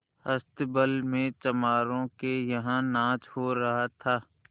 अस्तबल में चमारों के यहाँ नाच हो रहा था